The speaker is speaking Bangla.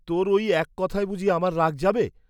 তোর ঐ এক কথায় বুঝি আমার রাগ যাবে?